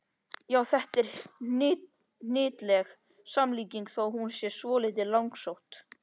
Já, þetta er hnyttileg samlíking þó hún sé svolítið langsótt.